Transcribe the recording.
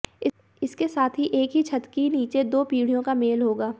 इसके साथ ही एक ही छत की नीचे दो पीढ़ीयों का मेल होगा